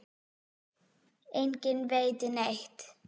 Enginn veit neitt.